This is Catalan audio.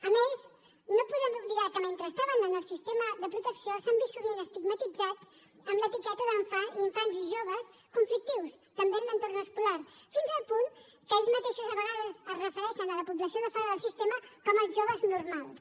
a més no podem oblidar que mentre estaven en el sistema de protecció s’han vist sovint estigmatitzats amb l’etiqueta d’infants i joves conflictius també en l’entorn escolar fins al punt que ells mateixos a vegades es refereixen a la població de fora del sistema com els joves normals